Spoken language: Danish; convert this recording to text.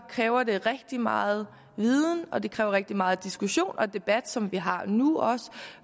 kræver det rigtig meget viden og det kræver rigtig meget diskussion og debat som vi også har nu